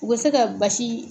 U bɛ se ka basi in